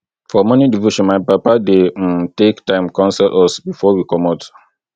for morning devotion my papa dey um take time counsel us before we comot